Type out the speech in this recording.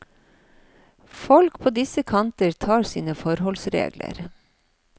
Folk på disse kanter tar sine forholdsregler.